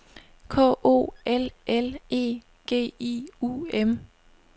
K O L L E G I U M